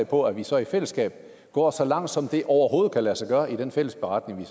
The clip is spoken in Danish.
på at vi så i fællesskab går så langt som det overhovedet kan lade sig gøre i den fælles beretning